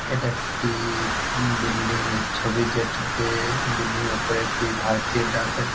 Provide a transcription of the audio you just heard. এটা একটি-ই বিল্ডিং -এর ছবি যেটাতে-এ বিল্ডিং -এর উপরে একটি ভারতীয় ডাকাত--